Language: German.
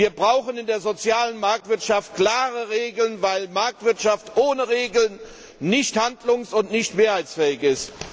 Wir brauchen in der sozialen Marktwirtschaft klare Regeln, weil Marktwirtschaft ohne Regeln nicht handlungs und nicht mehrheitsfähig ist.